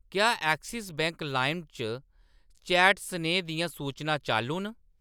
क्या Axis Bank लाइम च चैट सनेहें दियां सूचनां चालू न ?